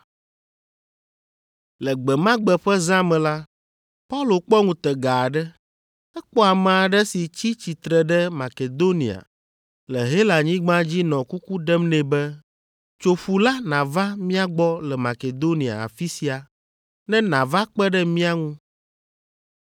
Le gbe ma gbe ƒe zã me la, Paulo kpɔ ŋutega aɖe. Ekpɔ ame aɖe si tsi tsitre ɖe Makedonia le Helanyigba dzi nɔ kuku ɖem nɛ be, “Tso ƒu la nàva mía gbɔ le Makedonia afi sia, ne nàva kpe ɖe mía ŋu.”